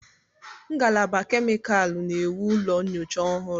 Ngalaba kemịkalụ na-ewu ụlọ nyocha ọhụrụ.